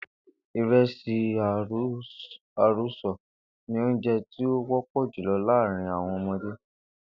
Ìre̩sì àrosò̩ ni oúnjé̩ tí ó wó̩pò̩ jùlo̩ láàárín àwo̩n o̩mo̩dé